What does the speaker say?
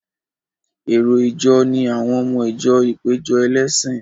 Èrò ìjọ ni àwọn ọmọ ìjọ ìpéjọ ẹlẹ́sìn.